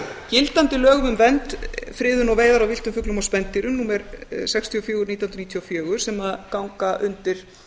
gildandi lögum um vernd friðun og veiðar á villtum fuglum og spendýrum númer sextíu og fjögur nítján hundruð níutíu og fjögur sem ganga undir